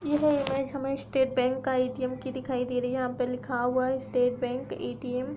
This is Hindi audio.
यह इमेज हमें स्टेट बैंक का ए.टी.एम. की दिखाई दे रही है। यहाँ पे लिखा हुआ है स्टेट बैंक ए.टी.एम. ।